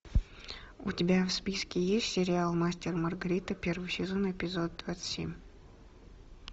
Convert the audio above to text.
у тебя в списке есть сериал мастер и маргарита первый сезон эпизод двадцать семь